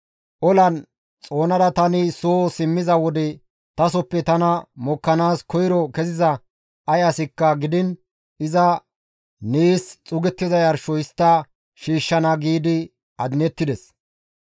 tani olan xoonada tani soo simmiza wode tasoppe tana mokkanaas koyro keziza ay asikka gidiin iza nees xuugettiza yarsho histta shiishshana» giidi adinettides.